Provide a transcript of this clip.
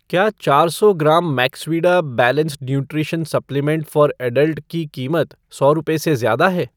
क्या चार सौ gram Maxvida balanced nutrition supplement for adult की कीमत सौ रुपए से ज्यादा है?